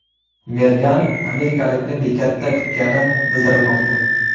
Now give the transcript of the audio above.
Mergan amerikalikni bekatda kutgani bildirilmoqda.